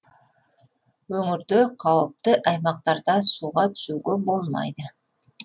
өңірде қауіпті аймақтарда суға түсуге болмайды